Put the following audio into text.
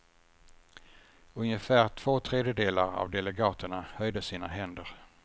Ungefär två tredjedelar av delegaterna höjde sina händer.